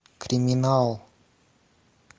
криминал